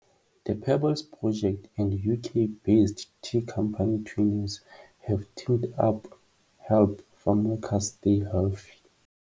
THE PEBBLES PROJECT and UK-based tea company Twinings have teamed up help farmworkers stay healthy.